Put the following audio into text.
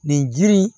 Nin jiri